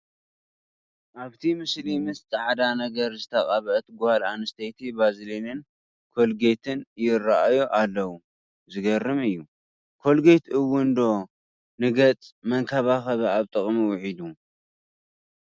ኣብቲ ምስሊ ምስ ፃዕዳ ነገር ዝተቐብአት ጓል ኣንስተይቲ ባዝሊንን ኮልጌትን ይርአዩ ኣለዉ፡፡ ዝገርም እዩ፡፡ ኮልጌት እውን ዶ ንገፅ መንከባኸቢ ኣብ ጥቕሚ ውዒሉ፡፡